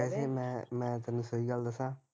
ਮੈਂ ਮੈਂ ਤੇਨੂੰ ਸਹੀ ਗੱਲ ਦੱਸਾ